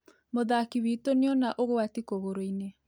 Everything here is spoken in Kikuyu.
Mũthaki witũnĩona ũgwati kũgũrũinĩ